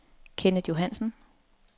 Kenneth Johansen